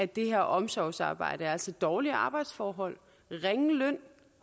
det her omsorgsarbejde altså dårlige arbejdsforhold ringe løn